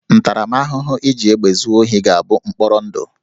Ntaramahụhụ iji egbe zuo ohi ga-abụ mkpọrọ ndụ